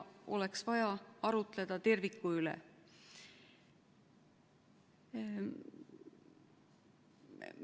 Oleks vaja arutleda terviku üle.